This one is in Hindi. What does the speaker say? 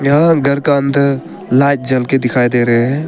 यहां घर का अंदर लाइट जलके दिखाई दे रहे हैं।